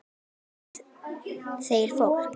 Nú fækki þeir fólki.